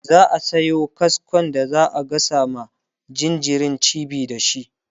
za'a Sayo kasko da za'a gasa ma jinjirin cibi da shi